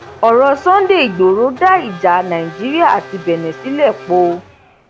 ọrọ sunday igboro dá ìjà nàìjíríà àti benne sílẹ póò